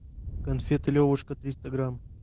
конфеты левушка триста грамм